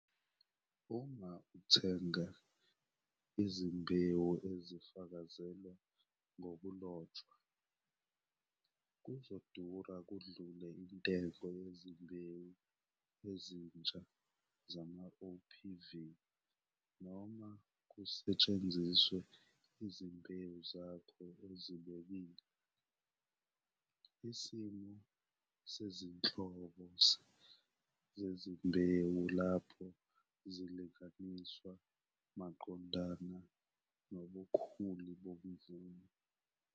Uma kuthengwa izimbewu ezifakazelwe ngokulotshwa, kuzodula kudlule intengo yezimbewu ezinsha zamaOPV noma kusetshenziswa izimbewu zakho ozibekile. Isimo sezinhlobo sezimbewu lapho zilinganiswa maqondana nobukhulu bomvuno.